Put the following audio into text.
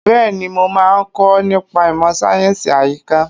Bẹ́ẹ̀ni, mo máa kọ́ nípa ìmọ̀ sáyẹ̀nsì àyíká.